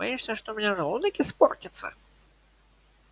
боишься что у меня желудок испортится